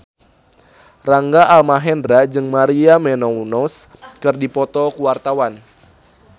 Rangga Almahendra jeung Maria Menounos keur dipoto ku wartawan